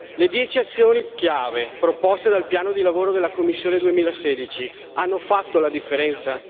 Le dieci azioni chiave proposte dal piano di lavoro della Commissione 2016 hanno fatto la differenza?